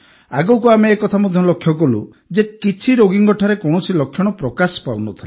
ଆଗକୁ ଆମେ ଏ କଥା ମଧ୍ୟ ଲକ୍ଷ୍ୟ କଲୁ ଯେ କିଛି ରୋଗୀଙ୍କଠାରେ କୌଣସି ଲକ୍ଷଣ ପ୍ରକାଶ ପାଉନଥିଲା